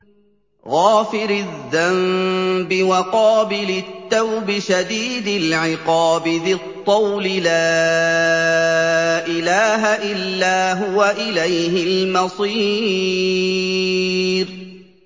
غَافِرِ الذَّنبِ وَقَابِلِ التَّوْبِ شَدِيدِ الْعِقَابِ ذِي الطَّوْلِ ۖ لَا إِلَٰهَ إِلَّا هُوَ ۖ إِلَيْهِ الْمَصِيرُ